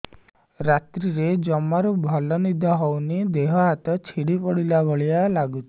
ରାତିରେ ଜମାରୁ ଭଲ ନିଦ ହଉନି ଦେହ ହାତ ଛିଡି ପଡିଲା ଭଳିଆ ଲାଗୁଚି